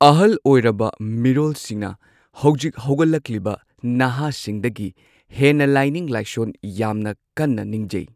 ꯑꯍꯜ ꯑꯣꯏꯔꯕ ꯃꯤꯔꯣꯜꯁꯤꯡꯅ ꯍꯧꯖꯤꯛ ꯍꯧꯒꯠꯂꯛꯂꯤꯕ ꯅꯍꯥꯁꯤꯡꯗꯒꯤ ꯍꯦꯟꯅ ꯂꯥꯏꯅꯤꯡ ꯂꯥꯏꯁꯣꯟ ꯌꯥꯝꯅ ꯀꯟꯅ ꯅꯤꯡꯖꯩ